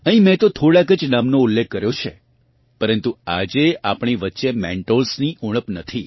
અહીંયા મેં તો થોડાંક જ નામનો ઉલ્લેખ કર્યો છે પરન્તુ આજે આપણી વચ્ચે મેન્ટોર્સ ની ઊણપ નથી